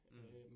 Mh